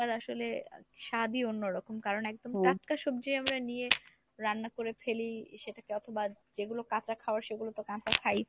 আসলে স্বাদই অন্যরকম কারন একদম টাটকা সবজি আমরা নিয়ে রান্না করে ফেলি সেটাকে অথবা যেগুলো কাঁচা খাওয়ার সেগুলো তো কাঁচা খাই।